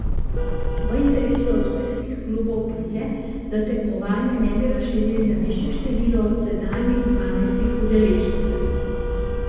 V interesu avstrijskih klubov pa je, da tekmovanja ne bi razširjali na višje število od sedanjih dvanajstih udeležencev.